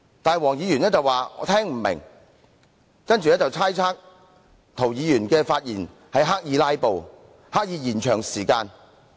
不過，黃議員說聽不明白，然後便猜測涂議員的發言是刻意"拉布"和拖延時間。